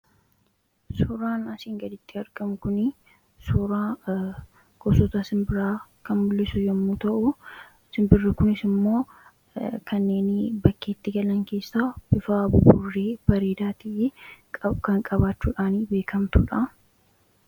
Suuraan asiin gaditti argamu kuni suuraa gosota sinbiraa kan mulisu yommuu ta'u sinbirri kunis immoo kanneeni bakkeetti galan keessa bifa buburree ta'e kan bareedaa ta'e kan qabaachuudhaani beekamtuudha.